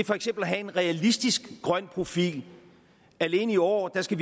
for eksempel at have en realistisk grøn profil alene i år skal